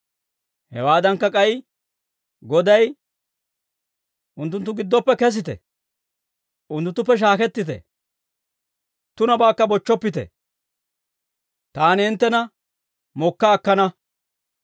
Hewaadankka, k'ay Goday, «Unttunttu giddoppe kesite; unttunttuppe shaakettite. Tunabaakka bochchoppite. Taani hinttena mokka akkana.